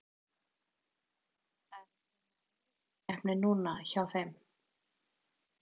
Það er að koma Evrópukeppni núna hjá þeim.